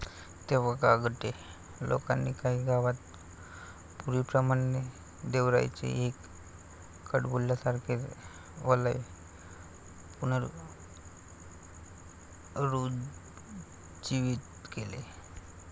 तेव्हा गांगटे लोकांनी काही गावात पूर्वीप्रमाणे देवराईचे एक कडबोल्यासारखे वलय पुनरुज्जीवित केले.